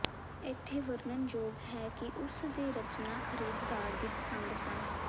ਇੱਥੇ ਵਰਨਣਯੋਗ ਹੈ ਕਿ ਉਸ ਦੇ ਰਚਨਾ ਖਰੀਦਦਾਰ ਦੀ ਪਸੰਦ ਸਨ